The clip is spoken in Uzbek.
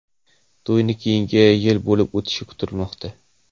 To‘y keyingi yil bo‘lib o‘tishi kutilmoqda.